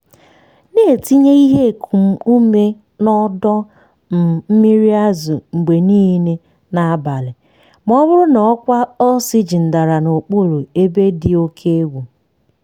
na-etinye ihe ekum ume na ọdọ um mmiri azụ mgbe niile n'abalị ma ọ bụrụ na ọkwa oxygen dara n'okpuru ebe dị oke egwu.